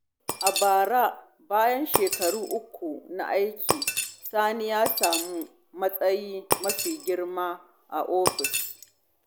A bara, bayan shekaru uku na aiki, Sani ya sami matsayi mafi girma a ofis.